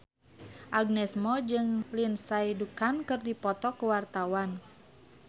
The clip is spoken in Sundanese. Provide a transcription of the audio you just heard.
Agnes Mo jeung Lindsay Ducan keur dipoto ku wartawan